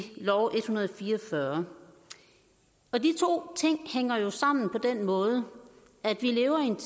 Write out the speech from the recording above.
hundrede og fire og fyrre og de to ting hænger jo sammen på den måde at vi lever i en